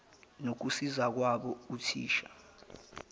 nokusiza kwabo othisha